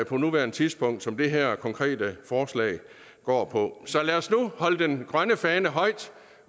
på nuværende tidspunkt som det her konkrete forslag går på så lad os nu holde den grønne fane højt